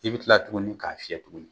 I bi kila tuguni k'a fiyɛ tuguni